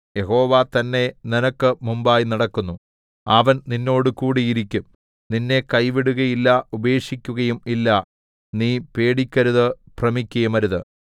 യഹോവ തന്നെ നിനക്ക് മുമ്പായി നടക്കുന്നു അവൻ നിന്നോട് കൂടി ഇരിക്കും നിന്നെ കൈവിടുകയില്ല ഉപേക്ഷിക്കുകയും ഇല്ല നീ പേടിക്കരുതു ഭ്രമിക്കയുമരുത്